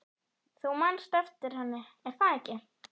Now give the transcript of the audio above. Þú manst eftir henni, er það ekki?